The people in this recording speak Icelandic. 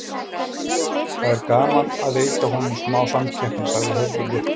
Það er gaman að veita honum smá samkeppni, sagði Hörður léttur.